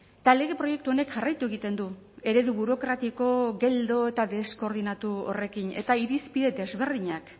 eta lege proiektu honek jarraitu egiten du eredu burokratiko geldo eta deskoordinatu horrekin eta irizpide desberdinak